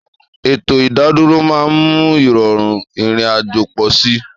Ètò ìdádúró máa ń mú ìrọ̀rùn ìrìn-àjò pọ̀ sí i.